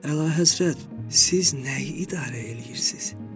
Əlahəzrət, siz nəyi idarə eləyirsiz?